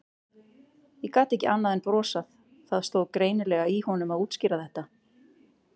Ég gat ekki annað en brosað, það stóð greinilega í honum að útskýra þetta.